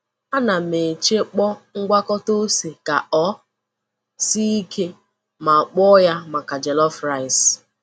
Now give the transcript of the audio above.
A na m echekpọ ngwakọta ose ka ọ sie ike, ma kpụọ ya maka jollof rice."